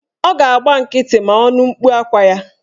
Ọ ga-agba nkịtị ma ọ nụ mkpu akwa ya